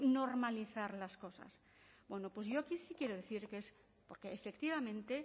normalizar las cosas bueno pues yo aquí sí quiero decir que es porque efectivamente